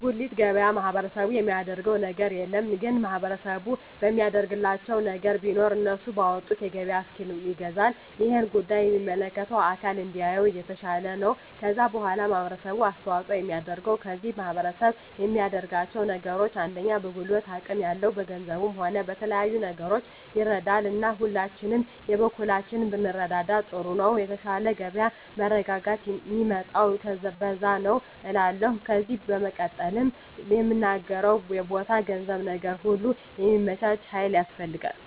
በጉልት ገበያ ማህበረሰቡ የሚያደረገው ነገር የለም ግን ማህበረሰቡ የሚያደርግላቸው ነገር ቢኖር እነሱ ባወጡት የገበያ እስኪል ይገዛል እሄን ጉዳይ የሚመለከተው አካል እንዲያየው የተሻለ ነው ከዛ በዋላ ማህበረሰቡ አስተዋጽኦ የሚያደርገው ከዚህ ማህረሰብ የሚያደርጋቸው ነገሮች አንደኛ በጉልበት አቅም ያለው በገንዘቡም ሆነ በተለያዩ ነገሮች ይረዳል እና ሁላችንም የበኩላችንን ብንረዳዳ ጥሩ ነው የተሻለ የገበያ መረጋጋት ሚመጣው በዛ ነዉ እላለሁ ከዜ በመቀጠል ምናገረው የቦታ የገንዘብ ነገር ሁሉ ሚመቻች ሀይል ያስፈልጋል